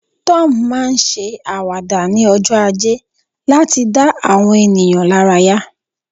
Tom ma n se awada ni ojo aje lati da awọn ènìyàn laraya